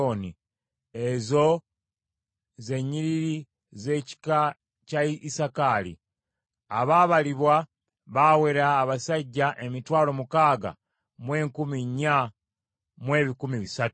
Ezo ze nnyiriri z’ekika kya Isakaali. Abaabalibwa baawera abasajja emitwalo mukaaga mu enkumi nnya mu ebikumi bisatu (64,300).